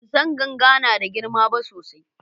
bansan ganga nada girma ba sosai